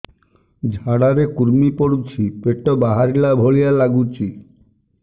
ଝାଡା ରେ କୁର୍ମି ପଡୁଛି ପେଟ ବାହାରିଲା ଭଳିଆ ଲାଗୁଚି